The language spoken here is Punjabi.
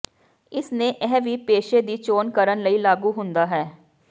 ਇਸ ਨੇ ਇਹ ਵੀ ਪੇਸ਼ੇ ਦੀ ਚੋਣ ਕਰਨ ਲਈ ਲਾਗੂ ਹੁੰਦਾ ਹੈ